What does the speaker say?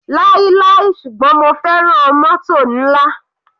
Láíláí ṣùgbọ́n mo fẹ́ràn mótò nla.